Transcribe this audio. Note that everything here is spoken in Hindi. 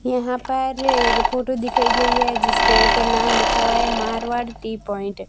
यहां पर एक फोटो दिखाई गई है जिस पे ऊपर नाम लिखा हुआ है मारवाड़ टी पॉइंट ।